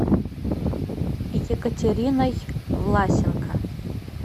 екатериной власенко